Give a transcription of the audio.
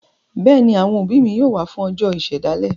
Bẹ́ẹ̀ ni, àwọn òbí mi yóò wà á fún ọjọ́ ìṣèdásílẹ̀.